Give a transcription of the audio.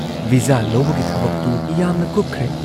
Visa ꯂꯧꯕꯒꯤ ꯊꯕꯛꯇꯨ ꯌꯥꯝꯅ ꯀꯨꯞꯈ꯭ꯔꯦ ꯫